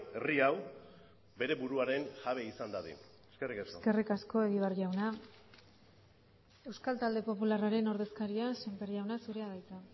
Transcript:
herri hau bere buruaren jabe izan dadin eskerrik asko eskerrik asko egibar jauna euskal talde popularraren ordezkaria sémper jauna zurea da hitza